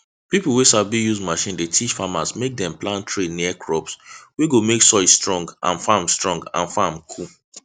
pipo wey sabi use machine dey teach farmers mek dem plant tree near crops wey go mek soil strong and farm strong and farm cool